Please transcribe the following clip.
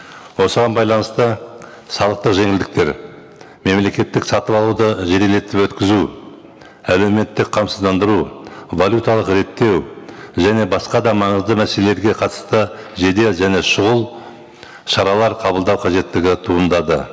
осыған байланысты салықтық жеңілдіктер мемлекеттік сатып алуды жедел етіп өткізу әлеуметтік қамсыздандыру валюталық реттеу және басқа да маңызды мәселелерге қатысты жедел және шұғыл шаралар қабылдау қажеттігі туындады